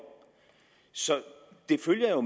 så det følger jo